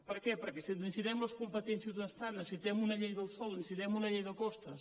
per què perquè necessitem les competències d’un estat necessitem una llei del sòl necessitem una llei de costes